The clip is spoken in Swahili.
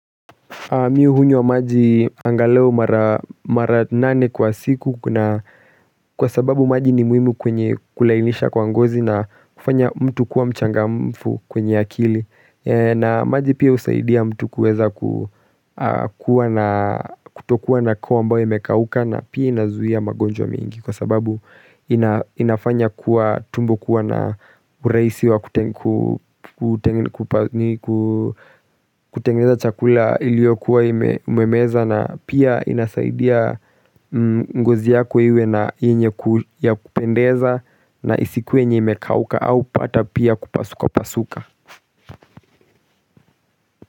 Mi hunywa maji angalau mara nane kwa siku kwa sababu maji ni muhimu kwenye kulainisha kwa ngozi na kufanya mtu kuwa mchangamfu kwenye akili. Na maji pia usaidia mtu kueza kutokuwa na koo ambayo imekauka na pia inazuia magonjwa mingi Kwa sababu inafanya kuwa tumbo kuwa na uraisi wa kutengeneza chakula ilio kuwa umemeza na pia inasaidia ngozi yako iwe na enye ya kupendeza na isikuwe enye imekauka au pata pia kupasuka pasuka.